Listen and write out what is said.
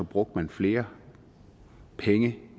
brugte flere penge